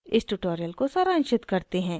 इस tutorial को सारांशित करते हैं